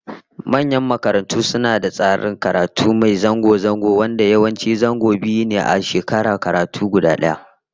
Manyan makarantu suna da tsarin karatu mai zango zango, wanda yawanci zango biyu ne a shekarar karatu guda daya